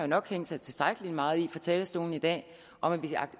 nok hængt sig tilstrækkelig meget i fra talerstolen i dag at vi